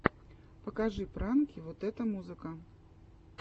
покажи пранки вот это музыка